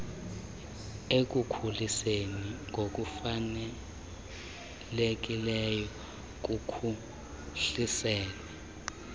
ekukhuliseni ngokufanelekileyo kuphuhliselwe